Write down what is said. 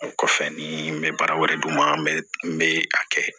O kɔfɛ ni n bɛ baara wɛrɛ d'u ma n bɛ n bɛ a kɛ